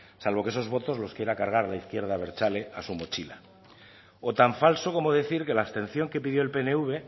salvo que esos votos los quiera cargar la izquierda abertzale a su mochila o tan falso como decir que la abstención que pidió el pnv